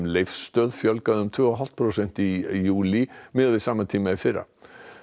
Leifsstöð fjölgaði um tvö og hálft prósent í júlí miðað við sama tíma í fyrra